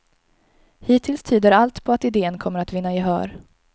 Hittills tyder allt på att idén kommer att vinna gehör.